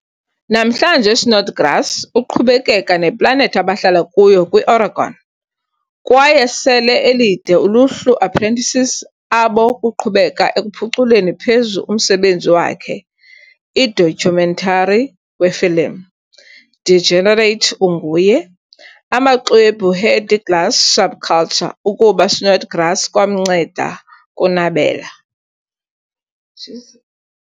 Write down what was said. Namhlanje Snodgrass uqhubekeka neplanethi abahlala kuyo kwi-Oregon kwaye sele elide uluhlu apprentices abo kuqhubeka ekuphuculeni phezu umsebenzi wakhe. I-documentary wefilim, "Degenerate Unguye", amaxwebhu heady glass subculture ukuba Snodgrass kwamnceda kunabela.